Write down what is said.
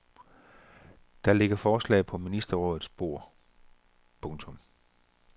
Der ligger forslag på ministerrådets bord. punktum